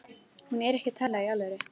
Hún er ekki að tala í alvöru.